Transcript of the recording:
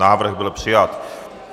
Návrh byl přijat.